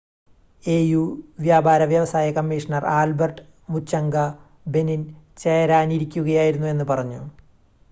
AU വ്യാപാര വ്യവസായ commissioner Albert Muchanga Benin ചേരാനിരിക്കുകയായിരുന്നു എന്ന് പറഞ്ഞു